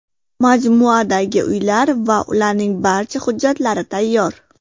Majmuadagi uylar va ularning barcha hujjatlari tayyor.